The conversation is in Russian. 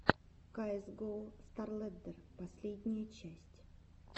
каэс гоу старлэддер последняя часть